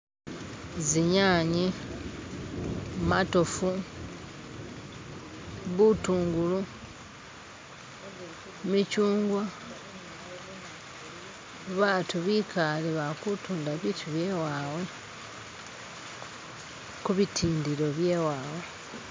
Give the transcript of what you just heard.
zinyanye matofu bitungulu michungwa batu bikale bali kutunda bitu byewawe kubitindilo byewawe